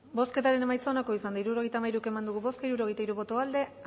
bozketaren emaitza onako izan da hirurogeita hamairu eman dugu bozka hirurogeita hiru boto aldekoa